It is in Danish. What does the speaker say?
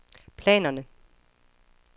planerne